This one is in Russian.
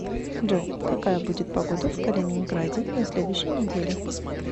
джой какая будет погода в калининграде на следующей неделе